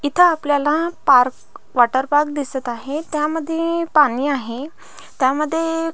इथ आपल्याला park water park दिसत आहे त्यामध्ये पाणी आहे त्या मध्ये--